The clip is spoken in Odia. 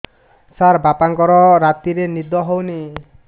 ସାର ବାପାଙ୍କର ରାତିରେ ନିଦ ହଉନି